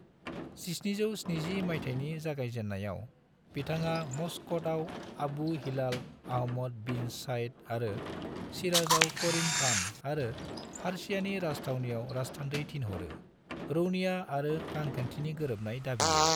1770 माइथायनि जागायजेन्नायाव बिथाङा मस्कटआव Abu Hilal Ahmad bin Said आरो शिराजआव करीम खान, आरो फार्सियानि राजथावनियाव राजथान्दै थिनहरो, रौनिया आरो रांखान्थिनि गोरोबनाय दाबियो।